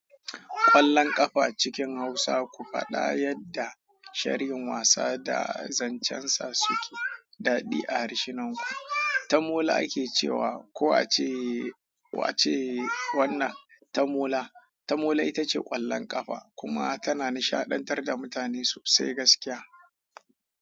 Ƙwallon ƙafa cikin Hausa ku faɗa yadda sharhin wasa da zancen sa suke daɗe a harshenanku. Tamola ake ce wa, ko a ce, ko a ce wannan tamola, tamola ita ce ƙwallon ƙafa kuma tana nishaɗantar da mutane sosai gaskiya.